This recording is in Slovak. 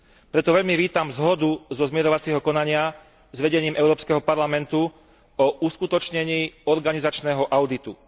Preto veľmi vítam zhodu zo zmierovacieho konania s vedením Európskeho parlamentu o uskutočnení organizačného auditu.